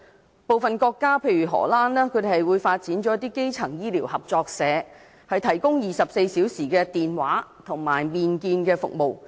在部分國家，例如荷蘭，便發展了基層醫療合作社，提供24小時的電話和面見服務。